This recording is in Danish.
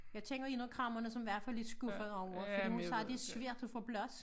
Jeg kender en af kræmmerne som i hvert fald er skuffet over det fordi hun siger det er svært at få plads